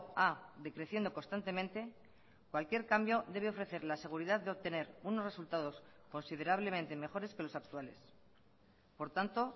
a decreciendo constantemente cualquier cambio debe ofrecer la seguridad de obtener unos resultados considerablemente mejores que los actuales por tanto